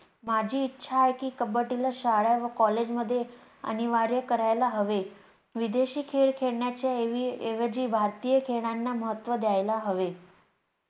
माझी इच्छा आहे की कब्बडी ला शाळा व college मध्ये अनिवार्य करायला हवे. विदेशी खेळ खेळण्याच्या ऐवजी भारतीय खेळांना महत्त्व द्यायला हवे